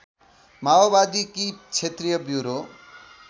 माओवादीकी क्षेत्रीय ब्युरो